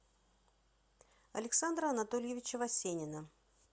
александра анатольевича васенина